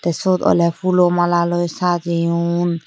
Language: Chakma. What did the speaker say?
syot oley pulo malaloi sajeyon.